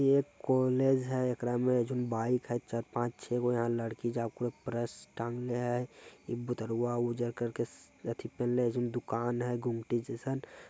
ये एक कॉलेज है एकरा में जोन बाइक है चार पांच छेगो यहा लड़की प्रस टंगले हय पेहनले हय एगो दुकान है गुमटी जैसन --